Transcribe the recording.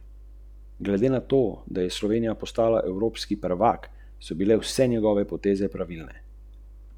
V naši igri sem pogrešal hitrost, ustvarjalnost, moč.